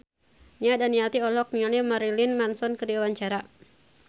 Nia Daniati olohok ningali Marilyn Manson keur diwawancara